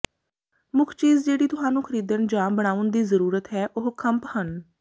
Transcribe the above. ਮੁੱਖ ਚੀਜ਼ ਜਿਹੜੀ ਤੁਹਾਨੂੰ ਖਰੀਦਣ ਜਾਂ ਬਣਾਉਣ ਦੀ ਜ਼ਰੂਰਤ ਹੈ ਉਹ ਖੰਭ ਹਨ